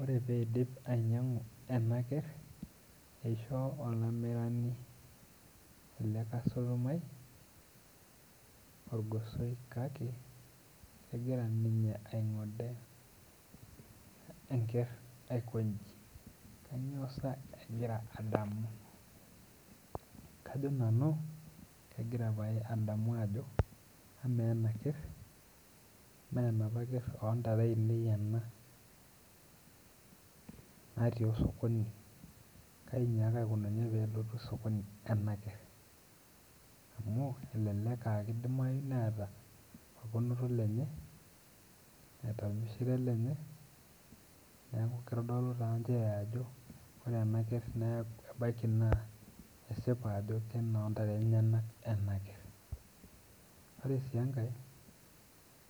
Ore peidip ainyinag'u ena kerr eisho olamirani ele kasitomai orgosoi kake kegira ninye aing'ode enkerr aikonji kanyio sa egira adamu kajo nanu kegira pae adamu ajo amaa ena kerr menapa kerr ontare ainei ena natii osokoni kai inyiaka aikununye pelotu sokoni ena kerr amu elelek aa kidimai neeta orponoto lenye neeta ormishire lenye neeku kitodolu taa nchere ajo ore ena kerr nee ebaiki naa esipa ajo kenontare enyenak ena kerr ore sii enkae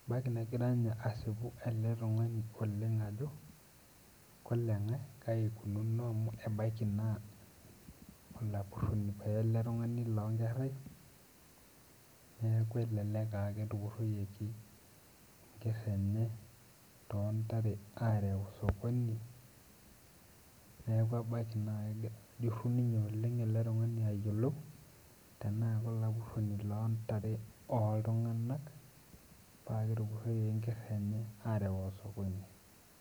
ebaiki negira inye asipu ele tung'ani oleng ajo koleng'e kai ikununo amu ebaiki naa olapurroni paye ele tung'ani lonkerrai neeku elelek aa ketupurroyieki enkerr enye tontare arew sokoni neeku ebaki naa kegira ajurru ninye ele tung'ani ayiolou tenaa kolapurroni lontare oltung'anak paa ketupurroyieki enkerr enye arew osokoni.